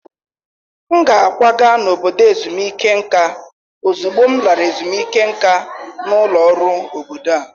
M ga-akwaga n'obodo ezumike nka ozugbo m lara ezumike nka n'ọrụ ọrụ obodo a.